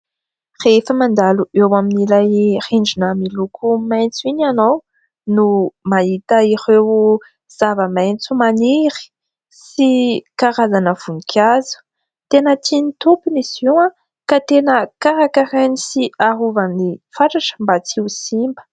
rehefa mandalo eo amin'n'ilay rinjina miloko maintso iny ianao no mahita ireo zava-maintso manery sy karazana vonikazo tena tiany tompony sioa ka tena karaka rainy sy ahovan'ny fatratra mba tsy ho simba